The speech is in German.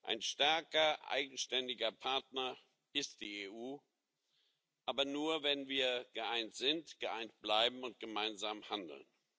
Ein starker eigenständiger Partner ist die EU aber nur, wenn wir geeint sind, geeint bleiben und gemeinsam handeln.